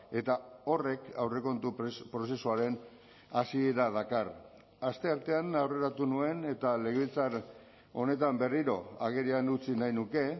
eta horrek aurrekontu prozesuaren hasiera dakar asteartean aurreratu nuen eta legebiltzar honetan berriro agerian utzi nahi nuke